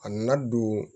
A nana don